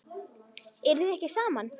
Eruð þið ekki saman?